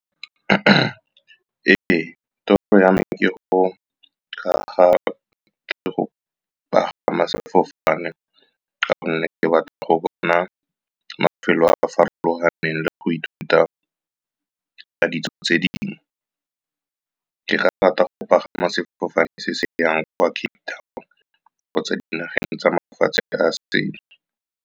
Ee, toro ya me ke go aga le go pagama sefofane, ka gonne ke batla go bona mafelo a farologaneng le go ithuta ka ditso tse dingwe. Ke rata go pagama sefofane se se yang kwa Cape Town kgotsa dinageng tsa mafatshe a .